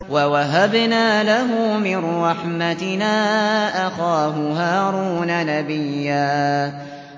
وَوَهَبْنَا لَهُ مِن رَّحْمَتِنَا أَخَاهُ هَارُونَ نَبِيًّا